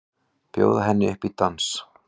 Bjóða henni upp í dans!